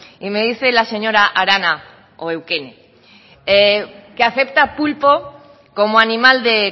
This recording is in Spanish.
y me dice la señora arana o eukene que acepta pulpo como animal de